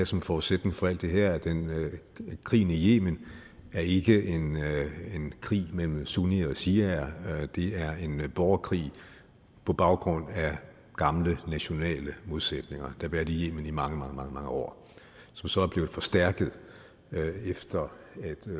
som forudsætning for alt det her at krigen i yemen ikke er en krig mellem sunnier og shiaer det er en borgerkrig på baggrund af gamle nationale modsætninger der har været i yemen i mange mange år som så er blevet forstærket efter